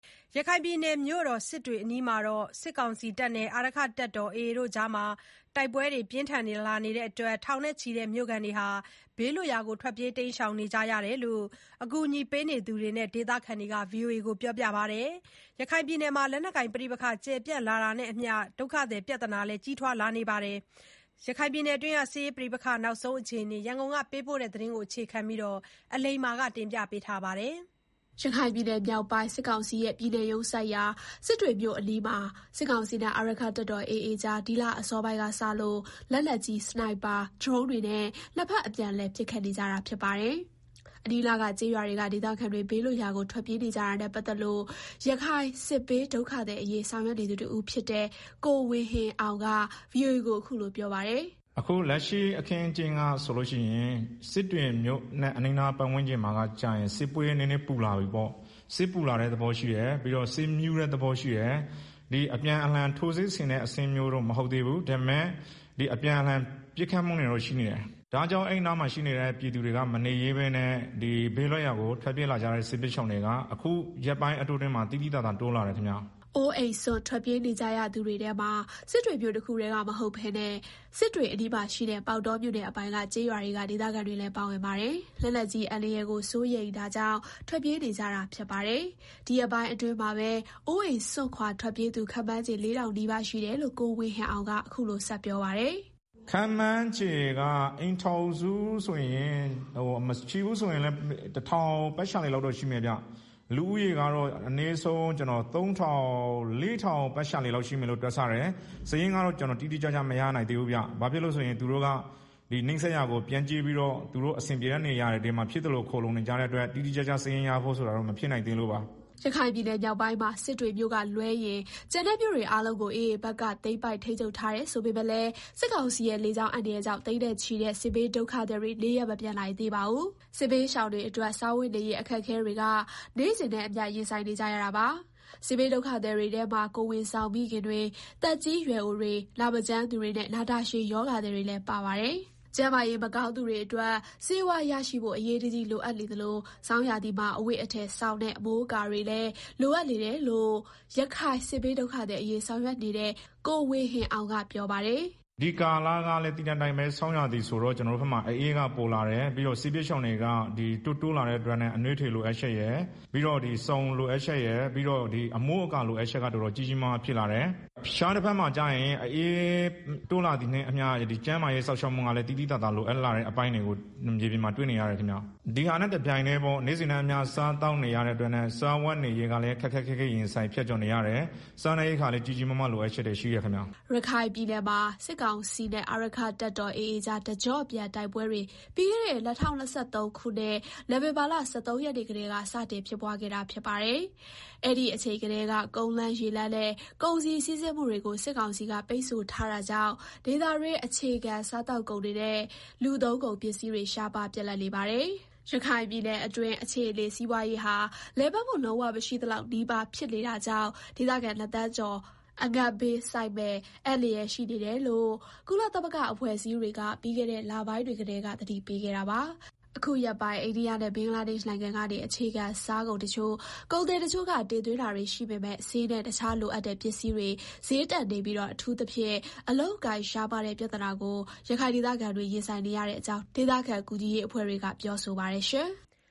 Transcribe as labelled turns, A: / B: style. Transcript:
A: ရခိုင်ပြည်နယ်မြို့တော်စစ်တွေအနီးမှာ စစ်ကောင်စီနဲ့ အာရက္ခတပ်တော် AA အဖွဲ့ကြား တိုက်ပွဲတွေ ဆက်ဖြစ်နေတာကြောင့် ထောင်နဲ့ချီတဲ့မြို့ခံတွေ ဘေးလွတ်ရာ ထွက်ပြေးနေရတယ်လို့ အကူအညီ ပေးနေသူတွေနဲ့ဒေသခံတွေက ပြောပါတယ်။ ရခိုင်ပြည်နယ်မှာ လက်နက်ကိုင်ပဋိပက္ခတွေ ကျယ် ပြန့်လာတာနဲ့အမျှ ဒုက္ခသည်ပြဿနာလည်း ကြီးထွားလာနေတာပါ။ ရခိုင်ပြည်နယ်စစ်ရေးပဋိပက္ခ နောက်ဆုံးအခြေအနေ ရန်ကုန်က သတင်းပေးပို့ထားပါတယ်။ ရခိုင်ပြည်နယ်မြောက်ပိုင်း စစ်ကောင်စီရဲ့ ပြည်နယ်ရုံးစိုက်ရာ စစ်တွေမြို့အနီးမှာ စစ်ကောင်စီနဲ့ အာရက္ခ တပ်တော် AA ကြား ဒီလအစောပိုင်းကစလို့ လက်နက်ကြီး၊ စနိုက်ပါ၊ ဒရုန်းတွေနဲ့ နှစ်ဘက်အပြန်လှန် ပစ်ခတ်နေကြပါတယ်။ အနီးအနားကကျေးရွာတွေက ဒေသခံတွေ ဘေးလွတ်ရာကို ထွက်ပြေးနေကြတာနဲ့ ပတ်သက်လို့ ရခိုင်စစ်ဘေးဒုက္ခသည်အရေးဆောင်ရွက်နေသူ တဦးဖြစ်တဲ့ ကိုဝေဟင်အောင်က VOA ကို အခုလို ပြောပါတယ်။ “
B: အခုလက်ရှိအခင်းအကျင်းကဆိုလို့ရှိရင် စစ်တွေမြို့နဲ့ အနီးအနားပတ်ဝန်းကျင်က စစ်ကနည်းနည်း ပူလာပြီပေါ့။ ပြီးတော့ စစ်မြူးတဲ့သဘောရှိတယ်၊။ အပြန်အလှန်ထိုးစစ်ဆင်တဲ့အဆင့်တော့ မဟုတ်သေးဘူး။ ဒါပေမယ့် အပြန်အလှန် ပစ်ခတ်မှုတွေတော့ ရှိနေတယ်။ ဒါ့ကြောင့် အဲဒီနားမှာရှိနေတဲ့ ပြည်သူတွေက မနေရဲဘဲနဲ့ ဘေးလွတ်ရာကို ထွက်ပြေးလာကြတဲ့ စစ်ဘေးရှောင်တွေက အခုရက်ပိုင်းအတွင်းမှာ သိသိသာသာ တိုးလာတယ်ဗျာ။
A: ” အိုးအိမ်စွန့် ထွက်ပြေးနေကြသူတွေထဲမှာ စစ်တွေမြို့တခုတည်းမဟုတ်ဘဲ စစ်တွေအနီးမှာရှိတဲ့ ပေါက်တော မြို့နယ်အပိုင်က ကျေးရွာတွေ ဒေသခံတွေလည်းပါဝင်ပါတယ်။ လက်နက်ကြီးအန္တရာယ်ကိုစိုးရိမ်တာကြောင့် ထွက်ပြေးနေကြတာဖြစ်ပါတယ်။ ဒီရက်ပိုင်းအတွင်းမှာပဲ အိုးအိမ်စွန့်ခွာထွက်ပြေးသူ ခန့်မှန်ခြေ ၄,၀၀၀ နီးပါး ရှိတယ်လို့ ကိုဝေဟင်အောင် ကဆက်ပြောပါတယ်။
B: “ခန့်မှန်းခြေကတော့ အိမ်ထောင်စုဆိုရင် တထောင်ပတ်ဝန်းကျင်လောက်တော့ ရှိမယ်ဗျာ။ လူဦးရေကတော့ အနည်းဆုံး ၃,၀၀၀၊ ၄,၀၀၀ ပတ်ဝန်းကျင်လောက်ရှိမယ်လို့ တွက်ဆတယ်။ စာရင်းကတော့ ကျနော် တိတိကျကျ မရနိုင်သေးဘူးဗျာ။ ဘာဖြစ်လို့လဲဆိုတော့ သူတို့က နီးစပ်ရာတွေကို ပြန့်ကျဲပြီးတော့ အဆင်ပြေမယ့်နေရာကို ဖြစ်သလို ခိုလှုံနေကြတဲ့အတွက် တိတိကျကျစာရင်းရဖို့ဆိုတာ မဖြစ်နိုင်သေးလို့ပါ။”
A: ရခိုင်ပြည်နယ်မြောက်မှာ စစ်တွေမြို့ကလွဲရင် ကျန်တဲ့ မြို့အားလုံးကို AA ဘက်က သိမ်းပိုက်ထိန်းချုပ်ထား တယ်ဆိုပေမယ့်လည်း စစ်ကောင်စီရဲ့ လေကြောင်း အန္တရာယ်ကြောင့် သိန်းနဲ့ချီတဲ့ စစ်ဘေးဒုက္ခသည်တွေ နေရပ်မပြန်နိုင်သေးပါဘူး။ စစ်ဘေးရှောင်တွေအတွက် စားဝတ်နေရးအခက်အခဲတွေနဲ့ နေ့စဉ်နဲ့ အမျှ ရင်ဆိုင်နေကြရပါတယ်။ စစ်ဘေးဒုက္ခသည်တွေထဲမှာ ကိုယ်ဝန်ဆောင်မိခင်တွေ၊ သက်ကြီး ရွယ်အိုတွေ နာမကျန်းသူတွေနဲ့ နာတာရှည်ရောဂါသည်တွေလည်း ပါပါတယ်။ ကျန်းမာရေးမကောင်းသူတွေအတွက် ဆေးဝါးရရှိဖို့ အရေးတကြီးလိုအပ်နေသလို ဆောင်းရာသီမှာ အဝတ်အထည်၊ စောင်နဲ့ အမိုးအကာတွေလည်း လိုအပ်နေတယ်လို့ ရခိုင်စစ်ဘေးဒုက္ခသည် အရေးဆောင်ရွက်နေတဲ့ ကိုဝေဟင်အောင်က ပြောပါတယ်
B: ။ “ဒီကာလကလည်း သိတဲ့အတိုင်းပဲ။ ဆောင်းရာသီဆိုတော့ ကျနော်တို့ဘက်မှာ အအေးက ပိုလာတယ်။ စစ်ဘေးရှောင်တွေက တိုးလာတဲ့အတွက်ကြောင့် စစ်ဘေးရှောင်တွေက အနွေးထည်လိုအပ်ချက်ရယ် ပြီးတော့ စောင်လိုအပ်ချက်ရယ်၊ အမိုးအကာလိုအပ်ချက်က တော်တော်ကြီးးကြီးမားမားဖြစ်လာတယ်။ တခြား တဘက်မှာကျရင် အအေးတိုးလာတာနဲ့အမျှ ကျန်းမာရေးစောင့်ရှောက်မှုက သိသိသာသာလို အပ်လာတာကို မြေပြင်မှာ တွေ့နေရတယ်ခင်မျာ။” ရခ
A: ိုင်ပြည်နယ်မှာ စစ်ကောင်စီနဲ့ အာရက္ခတပ်တော် AA ကြား တကျော့ပြန်တိုက်ပွဲတွေ ပြီးခဲ့တဲ့ ၂၀၂၃ ခုနှစ် နိုဝင်ဘာလ ၁၃ ရက်နေ့ကတည်း စတင်ဖြစ်ပွားခဲ့တာပါ။ အဲဓီအချိန်ကတည်းက ကုန်လမ်းရေလမ်းနဲ့ ကုန်စည်စီးဆင်းမှုတွေကို စစ်ကောင်စီက ပိတ်ဆို့ထားတာကြောင့် ဒေသတွင်း အခြေခံစားသောက်ကုန်တွေနဲ့ လူသုံးကုန်ပစ္စည်း တွေ ရှားပါးပြတ်လပ်နေပါတယ်။ ရခိုင်ပြည်နယ်အတွင်းအခြေအနေ စီးပွားရေးဟာ လည်ပတ်မှုလုံးဝ မရှိသလောက်နီးပါး ဖြစ်နေတာကြောင့် ဒေသခံနှစ်သန်းကျော် အငတ်ဘေးဆိုက်မယ့် အန္တရာယ်ရှိနေတယ်လို့ ကုလသမဂ္ဂ အဖွဲ့အစည်းတွေက ပြီးခဲ့တဲ့ လပိုင်းတွေကတည်း က သတိပေးခဲ့တာပါ။ အခု ရက်ပိုင်း အိန္ဒိယနဲ့ ဘင်္ဂလားဒေ့ရှ်နိုင်ငံကနေ အခြေခံစားကုန် တချို့ ကုန်သည်တချို့က တင်သွင်းတာတွေနိုင်ပေမဲ့ ဆေးနဲ့ တခြားလိုအပ်တဲ့ ပစ္စည်းတွေ ဈေးတက်နေပြီး အထူးသဖြင့် အလုပ်အကိုင် ရှားပါးတဲ့ ပြသနာကို ရခိုင်ဒေသခံတွေ ရင်ဆိုငနေရတဲ့အကြောင်း ဒေသခံ ကူညီရေးအဖွဲ့တွေက ပြောဆိုပါတယ်။